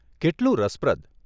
કેટલું રસપ્રદ !